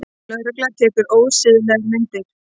Lögregla tekur ósiðlegar myndir